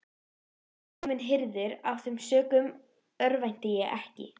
Nú hafði hann bréf undir höndum sem sannaði eignarrétt Skálholts.